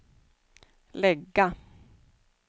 lägga